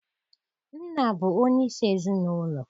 Nna bụ onye isi ezinaụlọ.